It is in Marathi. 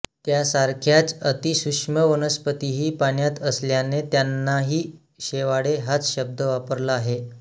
त्यासारख्याच अतिसूक्ष्म वनस्पतीही पाण्यात असल्याने त्यांनाही शेवाळे हाच शब्द वापरला आहे